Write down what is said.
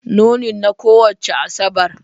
Nunin na kowace Asabar